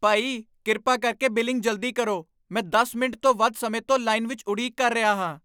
ਭਾਈ, ਕਿਰਪਾ ਕਰਕੇ ਬਿਲਿੰਗ ਜਲਦੀ ਕਰੋ! ਮੈਂ ਦਸ ਮਿੰਟ ਤੋਂ ਵੱਧ ਸਮੇਂ ਤੋਂ ਲਾਈਨ ਵਿੱਚ ਉਡੀਕ ਕਰ ਰਿਹਾ ਹਾਂ